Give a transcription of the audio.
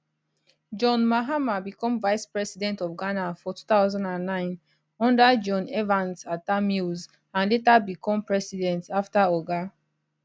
john mahama become vice president of ghana for 2009 under john evans atta mills and later become president afta oga